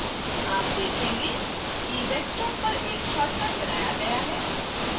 आप देखेंगे कि desktop पर एक shortcut बनाया गया है